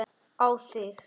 Á þig.